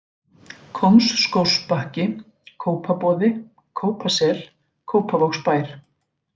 Kóngsskógsbakki, Kópaboði, Kópasel, Kópavogsbær